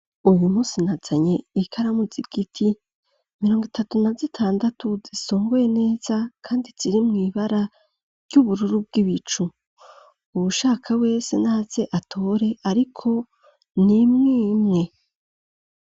Uyu munsi nazanye ikaramu z'igiti mirongo itatu na zitandatu zisungoye neza kandi ziri mw'ibara ry'ubururu bw'ibicu, uwushaka wese naze atore ariko nimwe imwe.